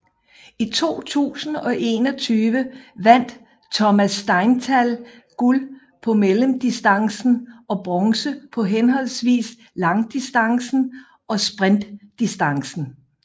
I 2021 vandt Thomas Steinthal guld på mellemdistancen og bronze på henholdsvis langdistancen og sprintdistancen